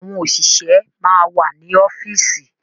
Àwọn òṣìṣẹ́ máa wà ní ọ́fíìsì.